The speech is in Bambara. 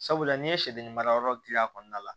Sabula n'i ye sɛden mara yɔrɔ dilan a kɔnɔna la